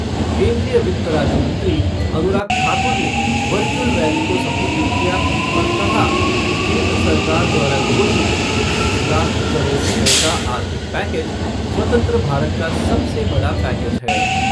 केन्द्रीय वित्त राज्य मंत्री अनुराग ठाकुर ने वर्चुअल रैली को सम्बोधित किया और कहा कि केन्द्र सरकार द्वारा घोषित बीस लाख करोड़ रुपए का आर्थिक पैकेज स्वतंत्र भारत का सबसे बड़ा पैकेज है।